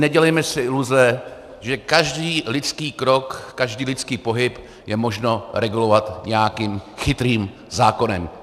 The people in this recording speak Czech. Nedělejme si iluze, že každý lidský krok, každý lidský pohyb je možné regulovat nějakým chytrým zákonem.